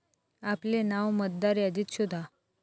आपले नाव मतदार यादीत शोधा